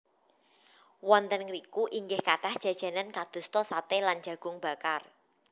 Wonten ngriku inggih kathah jajanan kadosta saté lan jagung bakar